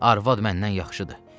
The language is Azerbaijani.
arvad məndən yaxşıdır.